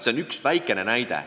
See on üks väikene näide.